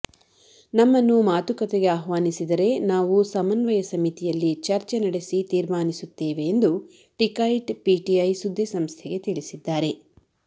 ನಮ್ಮನ್ನು ಮಾತುಕತೆಗೆ ಆಹ್ವಾನಿಸಿದರೆ ನಾವು ಸಮನ್ವಯ ಸಮಿತಿಯಲ್ಲಿ ಚರ್ಚೆ ನಡೆಸಿ ತೀರ್ಮಾನಿಸುತ್ತೇವೆ ಎಂದು ಟಿಕೈಟ್ ಪಿಟಿಐ ಸುದ್ದಿಸಂಸ್ಥೆಗೆ ತಿಳಿಸಿದ್ದಾರೆ